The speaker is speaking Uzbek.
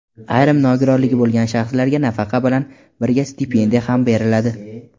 Ayrim nogironligi bo‘lgan shaxslarga nafaqa bilan birga stipendiya ham beriladi.